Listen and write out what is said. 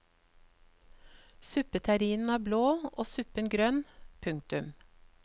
Suppeterrinen er blå og suppen grønn. punktum